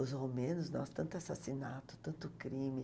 Os romenos, nossa, tanto assassinato, tanto crime.